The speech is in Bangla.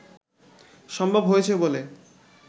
সম্ভব হয়েছে বলে